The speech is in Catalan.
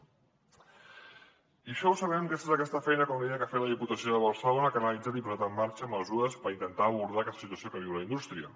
i això ho sabem gràcies a aquesta feina com li deia que ha fet la diputació de barcelona que ha analitzat i posat en marxa mesures per intentar abordar aquesta situació que viu la indústria